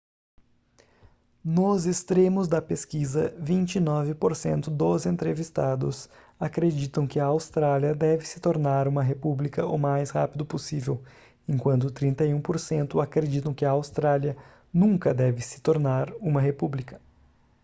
nos extremos da pesquisa 29% dos entrevistados acreditam que a austrália deve se tornar uma república o mais rápido possível enquanto 31% acreditam que a austrália nunca deve se tornar uma república